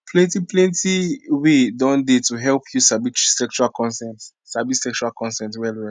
plenty plenty way don dey to help you sabi sexual consent sabi sexual consent well well